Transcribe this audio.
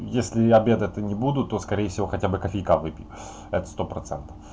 если я обедать то не буду то скорее всего хотя бы кофейка выпью это сто процентов